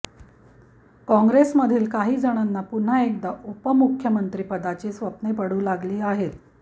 काँग्रेसमधील काही जणांना पुन्हा एकदा उपमुख्यमंत्रिपदाची स्वप्ने पडू लागली आहेत